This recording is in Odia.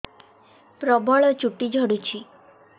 ପ୍ରବଳ ଚୁଟି ଝଡୁଛି